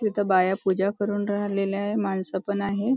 इथे बाया पूजा करून राहिलेल्या आहेत मानस पण आहेत.